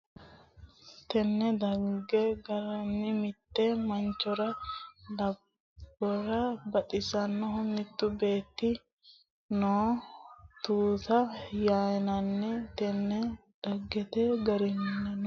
Tenne dhagge garinnino mitte manchora lubbora baxxannohu mittu beetti noose Misile Haarookkisete wi aana noo tuuta yinanni Tenne dhagge garinnino.